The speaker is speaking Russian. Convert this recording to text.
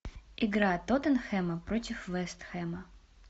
игра тоттенхэма против вест хэма